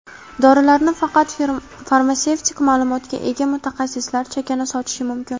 Dorilarni faqat farmatsevtik maʼlumotga ega mutaxassislar chakana sotishi mumkin.